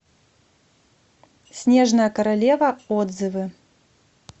снежная королева отзывы